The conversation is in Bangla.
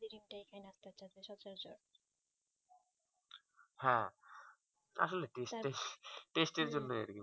হা আসলে